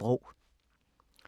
DR P2